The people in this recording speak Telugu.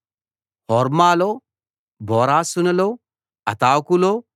హోర్మాలో బోరాషానులో అతాకులో